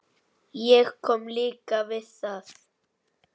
Ég kom líka við það.